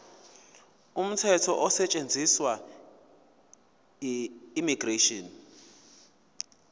umthetho osetshenziswayo immigration